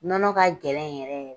Nɔnɔ ka gɛlɛn yɛrɛ de.